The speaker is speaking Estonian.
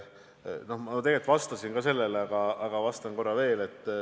Ma tegelikult juba vastasin sellele küsimusele, aga vastan korra veel.